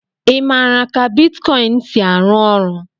Ị maara ka bitkọịn si arụ ọrụ?